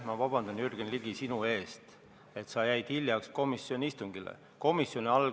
Ma palun vabandust, Jürgen Ligi, sinu eest, et sa jäid komisjoni istungile hiljaks!